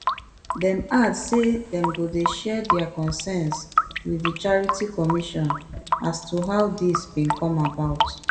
dem add say dem go dey share dia concerns wit di charity commission as to how dis bin come about